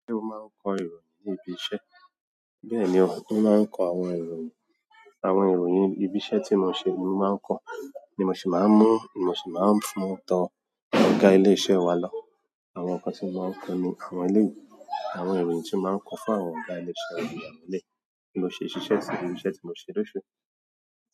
Ṣé o máa ń kọ ìròyìn ní ibi iṣẹ́? Bẹ́ẹ̀ni o, mo máa kó àwọn ìròyìn, àwọn ìròyìn ibi iṣẹ́ tí mo ṣe mo máa ń kó, ni mo sì máa ń mú, mo sì máa ń mú tó àwọn ọ̀gá wa lọ. Àwọn nǹkan tí mo máa ń kọ ni àwọn eléyi, àwọn ìròyìn tí mo máa ń kọ fún àwọn ọ̀gá ilé iṣẹ́ wa ní àwọn eléyi bí mo ṣe ṣíṣe sí, irú iṣẹ́ tí mo ṣè lò ṣu.